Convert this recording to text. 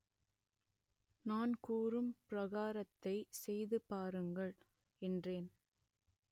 நான் கூறும் பரிகாரத்தை செய்து பாருங்கள் என்றேன்